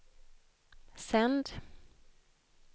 sänd